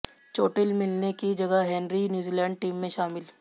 चोटिल मिल्ने की जगह हेनरी न्यूजीलैंड टीम में शामिल